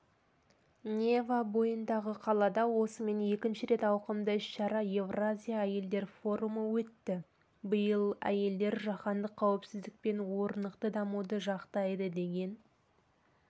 нева бойындағы қалада осымен екінші рет ауқымды іс-шара еуразия әйелдер форумы өтті биыл әйелдер жаһандық қауіпсіздік пен орнықты дамуды жақтайды деген